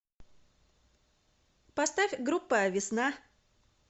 поставь группа весна